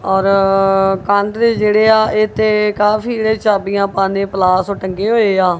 ਔਰ ਕੰਧ ਤੇ ਜਿਹੜੇ ਆ ਇਥੇ ਕਾਫੀ ਚਾਬੀਆਂ ਪਾਨੇ ਪਲਾਸ ਟੰਗੇ ਹੋਏ ਆ।